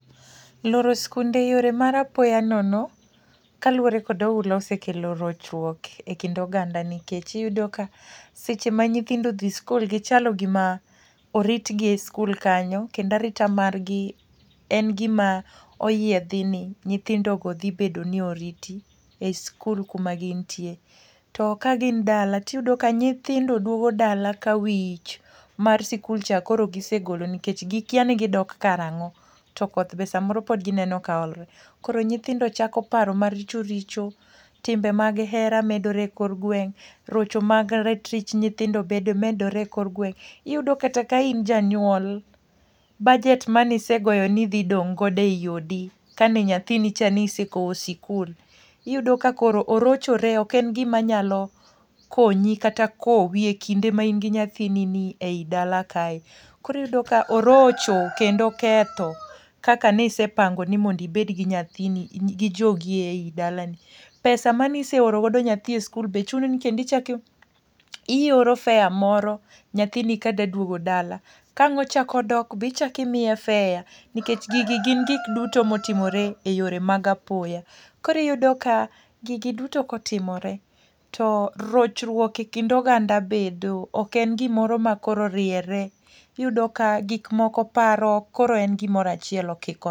Loro sikunde e yore mar apoya nono, kaluwore kod oula osekelo rochruok e kind oganda, nikech iyudo ka seche ma nyithindo odhi sikul, gichalo gima oritgi e sikul kanyo. Kendo arita margi en gima oyiedhi ni nyithindogo dhi bedo ni oriti, e sikul kuma gintie. To ka gin dala, to iyudo ka nyithindo duogo dala ka wich mar sikul cha koro gisegolo nikech gikya ni gidok karangó. To koth be samoro pod gineno ka olore. Koro nyithindo chako paro maricho richo, timbe mag hera medore e kor gweng', rocho mag ratich nyithindo be medore ekor gweng'. Iyudo kata ka in janyuol, budget mane isegoyo ni idhi dong' godo ei odi kane nyathini cha ne isekowo e sikul. Iyudo ka koro orochore. Ok en gima nyalo konyi, kata kowi e kinde ma in gi nyathini ni ei dala kae. Koro iyudo ka orocho, kendo oketho, kaka ne isepango ni mondo ibed gi nyathini, gi jogi ei dalani. Pesa mane iseoro godo nyathi e sikul be chuni ni kendo ichak ioro fare moro nyathini ka dwa duogo dala. Kang' ochak odok be ichak imiye fare, nikech gigi gin gik duto ma otimore e yore mag apoya. Koro iyudo ka, gigi duto ko timore to rochruok e kind oganda bedo, ok en gimoro ma koro oriere. Iyudo ka gik moko paro ok koro en gimoro achiel okikore.